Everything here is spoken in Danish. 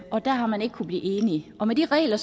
og der har man ikke kunnet blive enige og med de regler